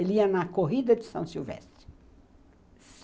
Ele ia na Corrida de São Silvestre.